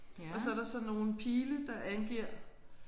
Og så er der sådan nogle pile der angiver